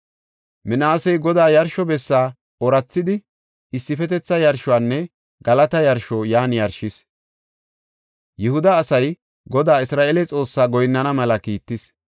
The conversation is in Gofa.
Minaasey Godaa yarsho bessi oorathidi issifetetha yarshonne galata yarsho yan yarshis. Yihuda asay Godaa Isra7eele Xoossaa goyinnana mela kiittis.